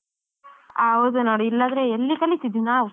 ಹೌದು ನೋಡ್ ಇಲ್ಲಾದ್ರೆ ಎಲ್ಲಿ ಕಲಿತಿದ್ವಿ ನಾವ್.